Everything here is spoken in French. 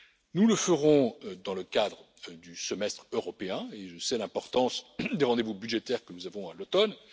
Nous le ferons dans le cadre du Semestre européen, et je sais l'importance des rendez vous budgétaires que nous avons à l'automne.